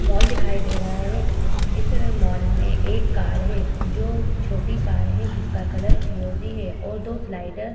Mall दिखाई दे रहा है। इस मॉल में एक कार है जो छोटी कार है। जिसका कलर फिरोजी है और दो स्लाइडर --